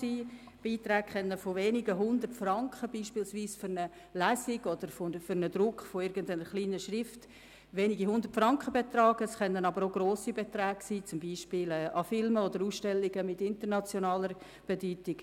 Es gibt Beiträge von wenigen Hundert Franken, zum Beispiel für eine Lesung oder den Druck einer kleinen Schrift, aber auch sechsstellige Zahlungen, etwa für Filme oder Ausstellungen von internationaler Bedeutung.